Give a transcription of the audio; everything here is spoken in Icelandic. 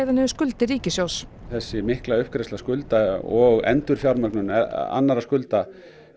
skuldir ríkissjóðs þessi mikla uppgreiðsla skulda og endurfjármögnun annarra skulda